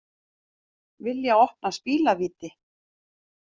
Vilja opna spilavíti